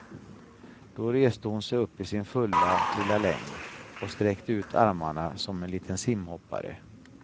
Då reste hon sig upp i sin fulla lilla längd och sträckte ut armarna som en liten simhoppare.